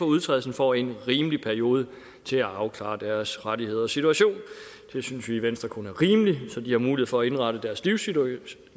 udtrædelsen får en rimelig periode til at afklare deres rettigheder og situation det synes vi i venstre kun er rimeligt så de har mulighed for at indrette deres livssituation